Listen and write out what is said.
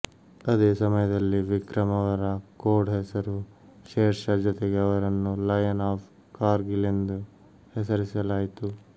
ಅದೇ ಸಮಯದಲ್ಲಿ ವಿಕ್ರಮ್ ಅವರ ಕೋಡ್ ಹೆಸರು ಶೇರ್ ಷಾ ಜೊತೆಗೆ ಅವರನ್ನು ಲಯನ್ ಆಫ್ ಕಾರ್ಗಿಲ್ ಎಂದು ಹೆಸರಿಸಲಾಯಿತು